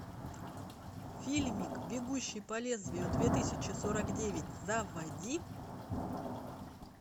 фильмик бегущий по лезвию две тысячи сорок девять заводи